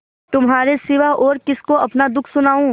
तुम्हारे सिवा और किसको अपना दुःख सुनाऊँ